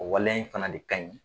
O waleya in fana de ka ɲi.